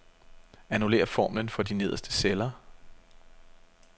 Annullér formlen for de nederste celler.